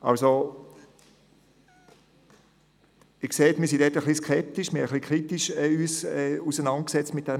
Sie sehen, dass wir ein bisschen skeptisch sind und uns kritisch mit diesem Thema auseinandergesetzt haben.